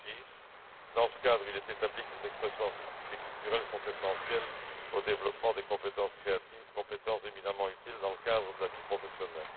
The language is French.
2006. Dans ce cadre, il est établi que les expressions artistiques et culturelles sont essentielles au développement des compétences créatives, compétences éminemment utiles dans le cadre de la vie professionnelle.